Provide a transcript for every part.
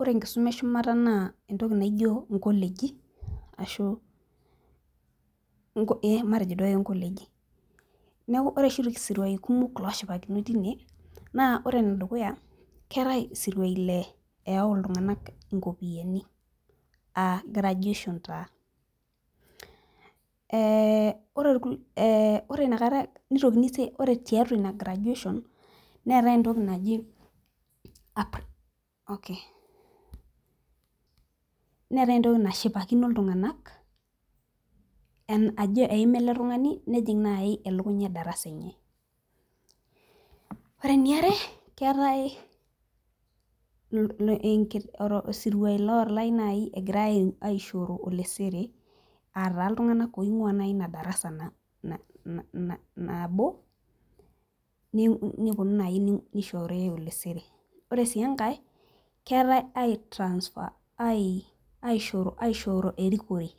ore enkisuma eshumata naa inkoleji ee matejo duo akeyie inkoleji , neeku ore oshi isirui kumok ooshipakinoi teine naa ore ole dukuya naa keetae ilo oyau iltung'anak inkopiyiani aa graduation taa ore tiatua ina graduation neetae entoki nashipakino iltung'anak ajo eima eletung'ani nejing' naaji elukunya edarasa enye , ore eniare naa keetae isiruaai lootai naaji egirai aisho olesere, aataa iltung'anak oing'uaa naaji ina darasa enye , ore sii engae keetae aishooro erikore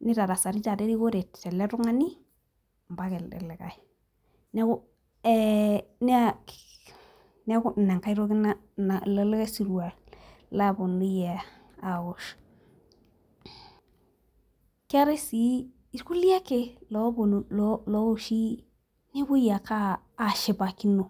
nitarasari taata erikore teletung'ani mpaka elde likae nee ku ilo likai siruaa loponunui aaosh keetae sii ilkulie ake looponunui nepoi ake ashipakino.